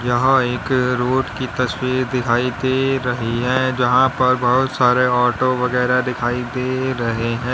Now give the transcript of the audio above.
यहां एक रोड की तस्वीर दिखाई दे रही है जहां पर बहुत सारे ऑटो वगैरा दिखाई दे रहे हैं।